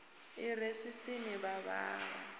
i re swiswini mavhava a